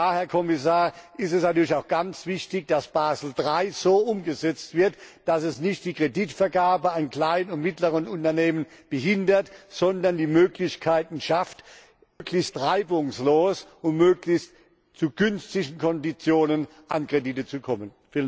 Und da, Herr Kommissar, ist es natürlich auch ganz wichtig, dass Basel III so umgesetzt wird, dass es nicht die Kreditvergabe an kleine und mittlere Unternehmen behindert, sondern die Möglichkeiten schafft, möglichst reibungslos und möglichst zu günstigen Konditionen an Kredite zu kommen.